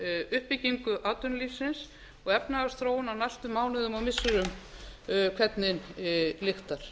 uppbyggingu atvinnulífsins og efnahagsþróun á næstu mánuðum og missirum hvernig lyktar